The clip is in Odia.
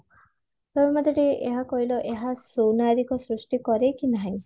ତମେ ମତେ ଟିକେ ଏହା କହିଲ ଏହା ସୁନାଗରିକ ସୃଷ୍ଟି କରେ କି ନାହିଁ